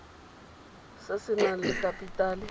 se se nang le kapitale